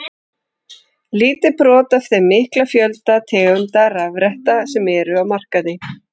Lítið brot af þeim mikla fjölda tegunda rafretta sem eru á markaði.